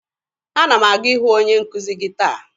Ana m aga ịhụ onye nkuzi gị taa.